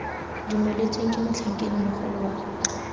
dumeletsweng ke motlhankedi mogolo wa